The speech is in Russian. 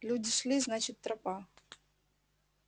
люди шли значит тропа